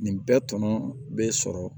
Nin bɛɛ tɔnɔ bɛ sɔrɔ